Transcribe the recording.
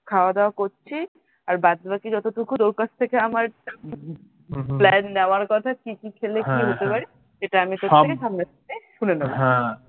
খাওয়াদাওয়া করছি আর বাদবাকি যতটুকু তোর কাছ থেকে আমার plan নেওয়ার কথা কি কি খেলে কি হতে পারে এটা আমি তোর থেকে সামনে থেকে শুনে নেবো